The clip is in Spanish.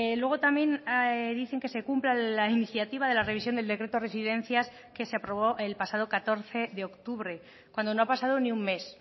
luego también dicen que se cumpla la iniciativa de la revisión del decreto de residencias que se aprobó el pasado catorce de octubre cuando no ha pasado ni un mes